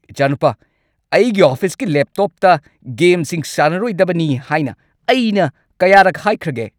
ꯏꯆꯥꯅꯨꯄꯥ, ꯑꯩꯒꯤ ꯑꯣꯐꯤꯁꯀꯤ ꯂꯦꯞꯇꯣꯞꯇ ꯒꯦꯝꯁꯤꯡ ꯁꯥꯟꯅꯔꯣꯏꯗꯕꯅꯤ ꯍꯥꯏꯅ ꯑꯩꯅ ꯀꯌꯥꯔꯛ ꯍꯥꯏꯈ꯭ꯔꯒꯦ?